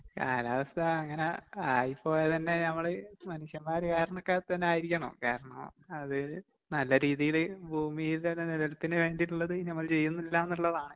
കാലാവസ്ഥ അങ്ങനെ ആയിപ്പോയത് തന്നെ നമ്മള് മനുഷ്യന്മാര് കാരണക്ക തന്നെ ആയിരിക്കണം. കാരണം അത് നല്ല രീതിയില് ഭൂമിയുടെ തന്നെ നിലനിൽപ്പിന് വേണ്ടീട്ടുള്ളത് നമ്മള് ചെയ്യുന്നില്ലാന്നുള്ളതാണ്.